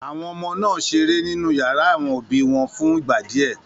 Àwọn ọmọ náà ṣeré nínú ìyàrá àwọn òbí wọn fún ìgbà díẹ̀.